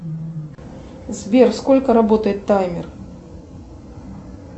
сбер сколько работает таймер